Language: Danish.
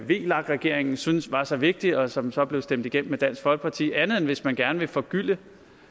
vlak regeringen syntes var så vigtig og som så blev stemt igennem med dansk folkeparti andet end hvis man gerne vil forgylde